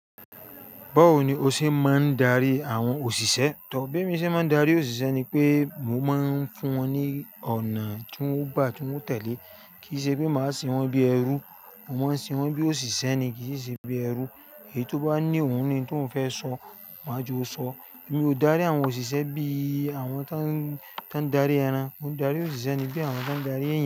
Báwo ni o ṣe máa ń darí àwọn òṣìṣẹ́? Tọ̀ọ́ bì emí ṣe máa ń darí òṣìṣẹ́ ni pé mo máa ń fún wọn ní ọ̀nà tí wọ́n bá tún tẹ̀lé. Kì í ṣe pé màá sin wọ́n bí ẹrú. Mo máa sin wọ́n bí òṣìṣẹ́ ni, kì í ṣe bí ẹrú. Èyí tó bá ní ohun ni tó ń fẹ́ sọ, máa jọ sọ. Èmi ò dárí àwọn òṣìṣẹ́ bí àwọn tó ń, tó ń darí ẹran. Mo ń darí òṣìṣẹ́ ni bí àwọn tó ń darí ẹ̀eyan.